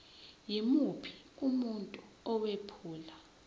yimuphi umuntu owephula